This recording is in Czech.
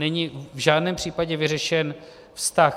Není v žádném případě vyřešen vztah...